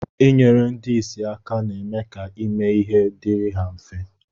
Inyere ndi isi aka na-eme ka ime ihe diri ha mfe